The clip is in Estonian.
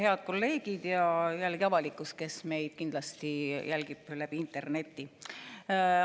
Head kolleegid ja jällegi avalikkus, kes meid kindlasti jälgib läbi interneti!